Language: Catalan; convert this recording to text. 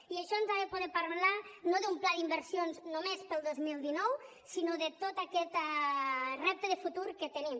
i això ens ha de portar a parlar no d’un pla d’inversions només per al dos mil dinou sinó de tot aquest repte de futur que tenim